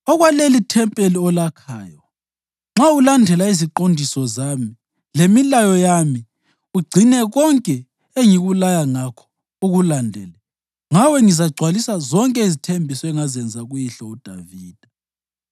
“Okwalelithempeli olakhayo, nxa ulandela iziqondiso zami, lemilayo yami ugcine konke engikulaya ngakho ukulandele, ngawe ngizagcwalisa zonke izithembiso engazenza kuyihlo uDavida.